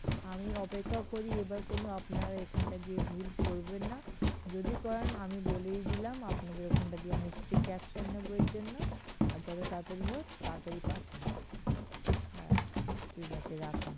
আমি অপেক্ষা করি এইবার কোন আপনারা এখানটা দিয়ে ভুল করবেনা যদি করেন আমি বলেই দিলাম আপনাদের খানটা দিয়ে আমি strict action নেবো এর জন্য আর যত তাড়াতড়ি হোক তাড়াতড়ি পাঠান হ্যাঁ ঠিক আছে রাখুন।